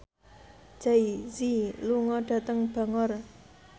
Jay Z lunga dhateng Bangor